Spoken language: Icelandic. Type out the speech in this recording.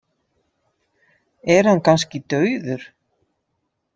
Er hann kannski dauður?